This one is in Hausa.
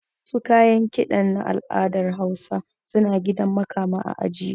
Wasu kayan kiɗan na al'adar hausa suna gidan makama a ajiye